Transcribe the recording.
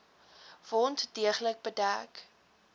wond deeglik bedek